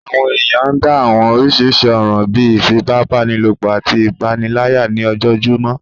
Àwọn èèyàn ń dá àwọn oríṣiríṣi ọ̀ràn bíi ìfipábanílòpọ̀ àti ìpànìyàn ní ojojúmọ́